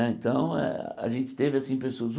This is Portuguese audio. Né então, eh a gente teve assim pessoas.